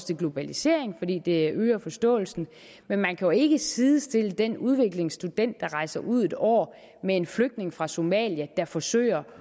til globaliseringen fordi det øger forståelsen men man kan jo ikke sidestille den udvekslingsstudent der rejser ud et år med en flygtning fra somalia der forsøger